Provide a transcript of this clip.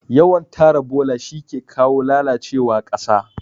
Yawan tara bola shike kawo lalacewa ƙasa